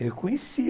Eu conhecia.